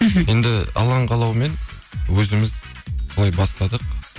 енді алланың қалауымен өзіміз солай бастадық